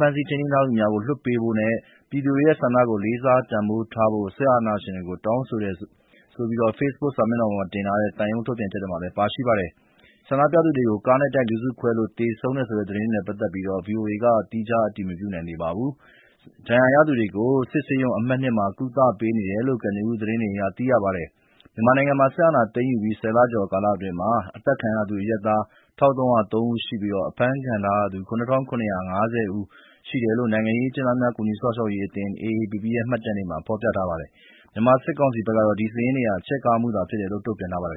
ဖမ်းဆီးထိန်းသိမ်းထားသူများကို ပြန်လွှတ်ပေးရန်နှင့် ပြည်သူတို့၏ဆန္ဒကို လေးစားတန်ဖိုးထားရန် စစ်အာဏာရှင်ကို တောင်းဆိုတယ်လို့လည်း ဖေ့စ်ဘုတ်ပေါ်မှာ တင်ထားတဲ့ သံရုံးထုတ်ပြန်ချက်မှာ ပါရှိပါတယ်။ ဆန္ဒပြသူတွေကို ကားနဲ့တိုက် လူစုခွဲလို့ သေဆုံးတယ်ဆိုတဲ့ သတင်းတွေနဲ့ ပတ်သက်လို့တော့ ဗွီအိုအေက သီးခြား အတည်မပြုနိုင်သေးပါဘူး။ ဒဏ်ရာရသူတွေကို စစ်ဆေးရုံအမှတ် ၂ မှာ ကုသပေးနေတယ်လို့ ကနဦး သတင်းအရ သိရပါတယ်။ မြန်မာနိုင်ငံမှာ စစ်အာဏာသိမ်းယူပြီး ၁၀ လကျော်ကာလအတွင်း အသတ်ခံရသူ အရပ်သား ၁,၃၀၃ ဦးရှိပြီး အဖမ်းခံထားရသူ ၇,၇၅၀ ဦးရှိတယ်လို့ နိုင်ငံရေးအကျဉ်းသားများ ကူညီစောင့်ရှောက်ရေးအသင်း (AAPP) ရဲ့ မှတ်တမ်းတွေမှာ ဖော်ပြထားပါတယ်။ မြန်မာစစ်ကောင်စီဘက်ကတော့ ဒီစာရင်းတွေဟာ ချဲ့ကားမှုဖြစ်တယ်လို့ တုံ့ပြန်ထားပါတယ်